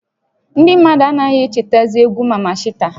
Ndị mmadụ anaghị echetazị egwu Maman Shata